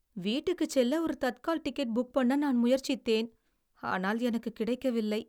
வீட்டுக்குச் செல்ல ஒரு Tatkal ticket book பண்ண நான் முயற்சித்தேன். ஆனால் எனக்குக் கிடைக்கவில்லை.